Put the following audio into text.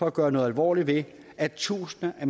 at gøre noget alvorligt ved at tusinder af